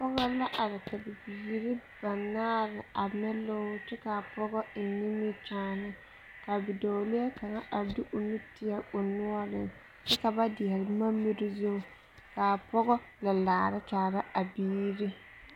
pɔge la are ka bibiiri banaare are o niŋeŋ lɔŋri kyɛ kaa pɔge piri nimikyaane ka bidɔɔlee kaŋa are de o nu kaŋa tieɛ o noɔreŋ kyɛ ka ba dieɛle boma miri zu ka pɔge la laare kyare a biiri.